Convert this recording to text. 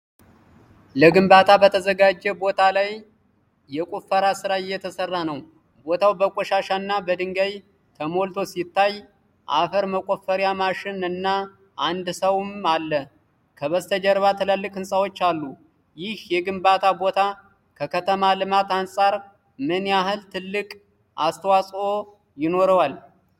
ለግንባታ በተዘጋጀ ቦታ ላይ የቆፈራ ሥራ እየተሰራ ነው። ቦታው በቆሻሻና በድንጋይ ተሞልቶ ሲታይ፣ አፈር መቆፈሪያ ማሽን እና አንድ ሰውም አሉ። ከበስተጀርባ ትልልቅ ህንፃዎች አሉ። ይህ የግንባታ ቦታ ከከተማ ልማት አንፃር ምን ያህል ትልቅ አስተዋፅኦ ይኖረዋል?